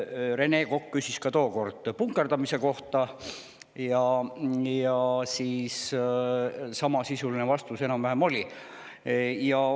Rene Kokk küsis ka tookord punkerdamise kohta ja siis kõlas enam-vähem samasisuline vastus.